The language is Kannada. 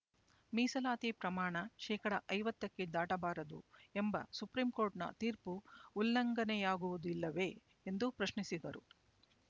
ಮೀಸಲಾತಿ ಪ್ರಮಾಣ ಶೇಕಡಾ ಐವತ್ತಕ್ಕೆ ದಾಟಬಾರದು ಎಂಬ ಸುಪ್ರೀಂ ಕೋರ್ಟ್‌ನ ತೀರ್ಪು ಉಲ್ಲಂಘನೆಯಾಗುವುದಿಲ್ಲವೇ ಎಂದು ಪ್ರಶ್ನಿಸಿದರು